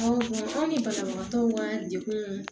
anw ni banabagatɔw ka degun